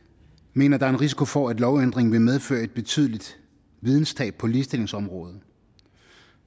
mener at der er en risiko for at lovændringen vil medføre et betydeligt videnstab på ligestillingsområdet